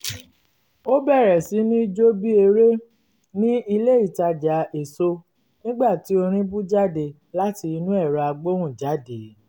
ó bẹ̀rẹ̀ sí ní jó bí eré ní ilé itaja èso nígbà tí orin bú jáde láti inú ẹ̀rọ agbóhùnjáde